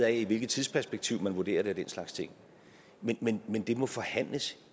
af hvilket tidsperspektiv man vurderer det den slags ting men men det må forhandles